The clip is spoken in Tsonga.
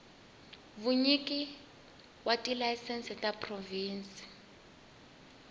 vunyiki wa tilayisense ta provhinsi